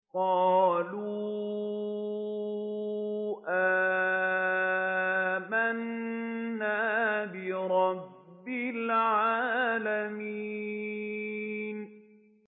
قَالُوا آمَنَّا بِرَبِّ الْعَالَمِينَ